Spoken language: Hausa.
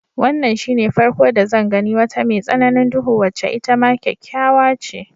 Wannan shine farko da zan gani wata mai tsananin duhu wacce itama kyakkyawa ce.